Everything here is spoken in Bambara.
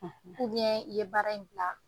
i ye baara in bila.